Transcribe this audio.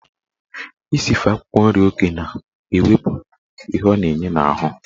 Isife akwụkwọ nri oke na-ewepụ ihe ọ na-enye n'ahụ.